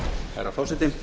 herra forseti